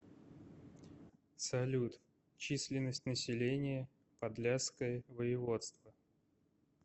салют численность населения подляское воеводство